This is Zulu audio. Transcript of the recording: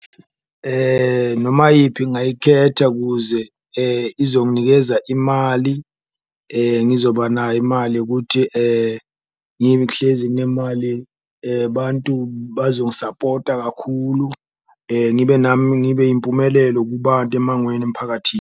Noma yiphi ngayikhetha kuze izonginikeza imali, ngizoba nayo imali ukuthi ngihlezi nginemali bantu bazongisapota kakhulu, ngibe nami ngibe impumelelo kubantu emangweni, emphakathini.